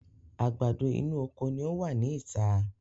Àgbàdo inú oko ni ọ wá ní ìta